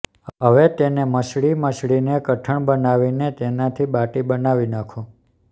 હવે તેને મસળી મસળીને કઠણ બનાવીને તેનાથી બાટી બનાવી નાખો